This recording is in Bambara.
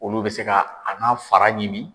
Olu be se ka a n'a fara ɲimi .